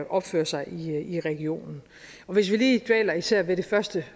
opfører sig i regionen hvis vi lige dvæler især ved det første